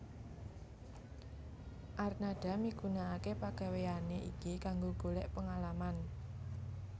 Arnada migunakake pagaweyane iki kanggo golek pengalaman